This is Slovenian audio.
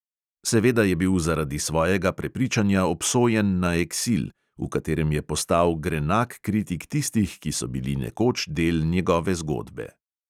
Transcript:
Seveda je bil zaradi svojega prepričanja obsojen na eksil, v katerem je postal grenak kritik tistih, ki so bili nekoč del njegove zgodbe.